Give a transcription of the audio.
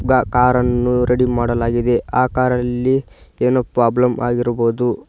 ಕ ಕಾರ್ ಅನ್ನು ರೆಡಿ ಮಾಡಲಾಗಿದೆ ಆ ಕಾರ್ ಅಲ್ಲಿ ಏನೋ ಪ್ರಾಬ್ಲಮ್ ಆಗಿರ್ಬೋದು.